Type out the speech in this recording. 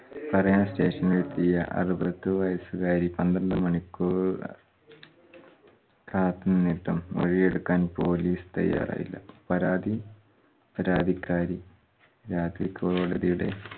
പറയാൻ station ൽ എത്തിയ അറുപത് വയസ്സുകാരി പന്ത്രണ്ട് മണിക്കൂർ കാത്തു നിന്നിട്ടും മൊഴിയെടുക്കാൻ police തയ്യാറായില്ല. പരാതി പരാതിക്കാരി രാത്രി കോടതിയുടെ